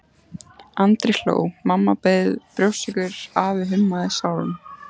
Andri hló, mamma bauð brjóstsykur, afi hummaði sálm.